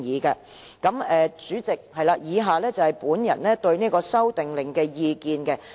代理主席，以下是我對《修訂令》的意見。